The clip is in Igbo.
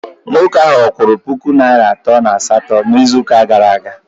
Nwoke a kwụrụ puku naịra atọ na asatọ n'izuụka gara aga?